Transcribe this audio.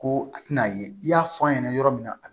Ko a tɛna ye i y'a fɔ a ɲɛna yɔrɔ min na a bi